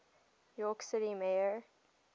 york city mayor